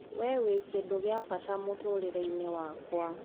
Wee wii kindũ gia bata mũno muturireini wakwa!